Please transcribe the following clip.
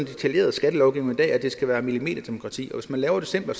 detaljeret skattelovgivning i dag at det skal være millimeterdemokrati og hvis man laver det simplere